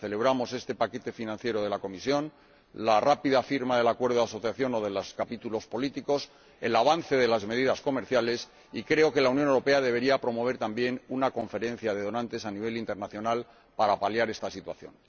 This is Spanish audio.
Celebramos este paquete financiero de la Comisión, la rápida firma del acuerdo de asociación o de los capítulos políticos, el avance de las medidas comerciales, y creo que la Unión Europea debería promover también una conferencia de donantes a nivel internacional para paliar esta situación.